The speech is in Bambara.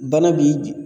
Bana b'i